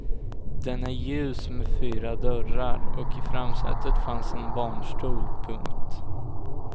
Den är ljus med fyra dörrar och i framsätet fanns en barnstol. punkt